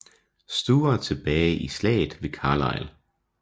Stuart tilbage i Slaget ved Carlisle